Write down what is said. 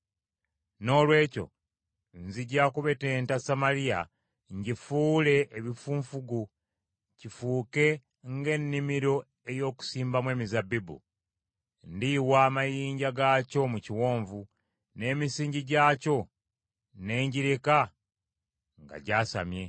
“Noolwekyo nzija kubetenta Samaliya ngifuule ebifunfugu, kifuuke nga ennimiro ey’okusimbamu emizabbibu. Ndiyiwa amayinja gaakyo mu kiwonvu N’emisingi gyakyo ne ngireka nga gyasamye.